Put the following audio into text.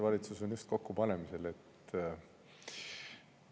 Valitsust alles pannakse kokku.